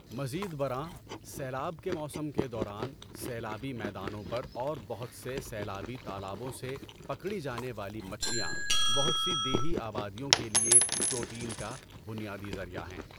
مزید برآں، سیلاب کے موسم کے دوران سیلابی میدانوں پر اور بہت سے سیلابی تالابوں سے پکڑی جانے والی مچھلیاں بہت سی دیہی آبادیوں کے لیے پروٹین کا بنیادی ذریعہ ہیں۔